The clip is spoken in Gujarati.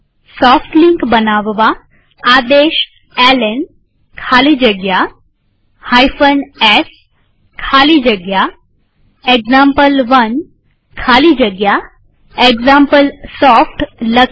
સોફ્ટ લિંક બનાવવા આદેશ એલએન ખાલી જગ્યા s ખાલી જગ્યા એક્ઝામ્પલ1 ખાલી જગ્યા એક્ઝામ્પલસોફ્ટ લખીએ